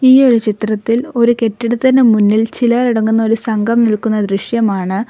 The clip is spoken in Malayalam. ഈ ഒരു ചിത്രത്തിൽ ഒരു കെട്ടിടത്തിന് മുന്നിൽ ചിലർ അടങ്ങുന്ന ഒരു സംഘം നിൽക്കുന്ന ദൃശ്യമാണ്.